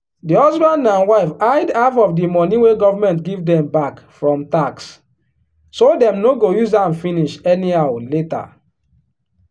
di husband and wife hide half of the money wey government give dem back from tax so dem no go use am finish anyhow later.